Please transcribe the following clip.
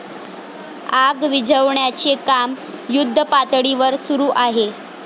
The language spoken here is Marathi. आग विझवण्याचे काम युद्धपातळीवर सुरू आहे.